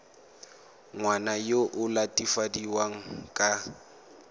ngwana yo o latofadiwang ka